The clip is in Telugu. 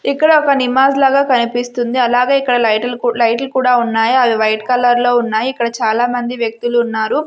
ఇక్కడ ఒక నిమాజ్ లాగా కనిపిస్తుంది అలాగే ఇక్కడ లైట్ కూ లైటు లు కూడా ఉన్నాయ్ అవి వైట్ కలర్ లో ఉన్నాయి ఇక్కడ చాలా మంది వ్యక్తులు ఉన్నారు.